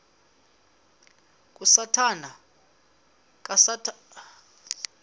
kasathana yeyele ethangeni